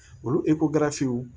Olu